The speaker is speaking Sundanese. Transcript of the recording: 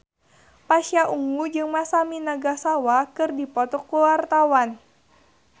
Pasha Ungu jeung Masami Nagasawa keur dipoto ku wartawan